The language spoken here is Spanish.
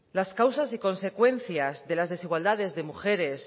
las causas y consecuencias de las desigualdades de mujeres